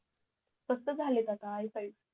स्वत झालेत आता आय फाईव्ह